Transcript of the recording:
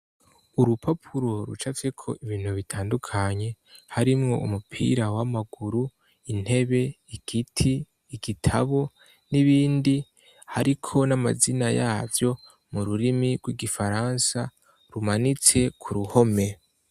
Urupapuro rucafyeko ibintu bitandukanye harimwo umupira w'amaguru intebe ikiti igitabo n'ibindi hariko n'amazina yavyo mu rurimi rw'igifaransa rumanitse ku ruhome.